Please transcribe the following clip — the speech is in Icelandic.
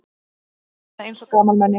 Ég hljómaði eins og gamalmenni.